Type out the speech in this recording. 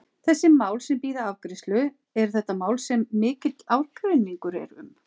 Þessi mál sem bíða afgreiðslu, eru þetta mál sem mikill ágreiningur er um?